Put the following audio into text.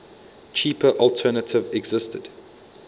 cheaper alternative existed